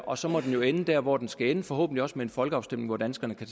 og så må den jo ende der hvor den skal ende forhåbentlig også med folkeafstemning hvor danskerne kan